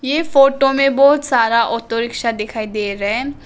ये फोटो में बहुत सारा ऑटो रिक्शा दिखाई दे रहें।